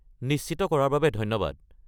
নিশ্চিত কৰাৰ বাবে ধন্যবাদ।